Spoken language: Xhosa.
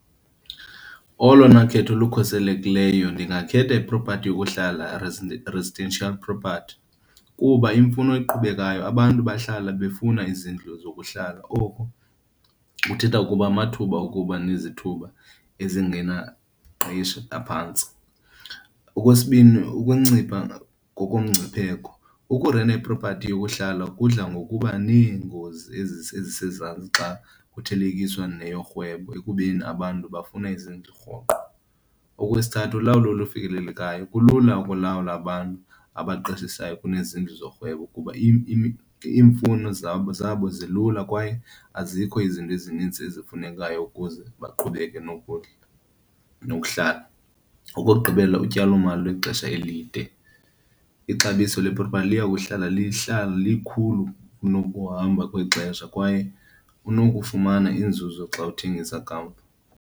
Olona khetho olukhuselekileyo ndingakhetha ipropathi yokuhlala, residential property, kuba iyimfuno eqhubekayo. Abantu bahlala befuna izindlu zokuhlala, oku kuthetha ukuba amathuba okuba nezithuba aphantsi. Okwesibini, ukuncipha ngokomngcipheko. Ukurenta iprophathi yokuhlala kudla ngokuba neengozi ezisezantsi xa kuthelekiswa neyorhwebo ekubeni abantu bafuna izindlu rhoqo. Okwesithathu, lulawulo olufikelelekayo. Kulula ukulawula abantu abaqeshisayo kunezindlu zorhwebo kuba iimfuno zabo zabo zilula kwaye azikho izinto ezininzi ezifunekayo ukuze baqhubeke nokudla, nokuhlala. Okokugqibela, utyalomali lwexesha elide. Ixabiso lepropathi liya kuhlala lihlala lilikhulu kunokuhamba kwexesha kwaye kunokufumana inzuzo xa uthengisa kamva.